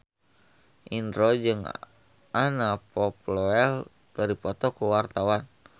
Indro jeung Anna Popplewell keur dipoto ku wartawan